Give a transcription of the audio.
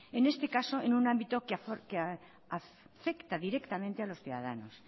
en este caso en un ámbito que afecta directamente a los ciudadanos